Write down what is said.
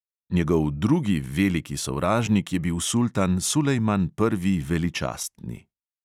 Njegov drugi veliki sovražnik je bil sultan sulejman prvi veličastni.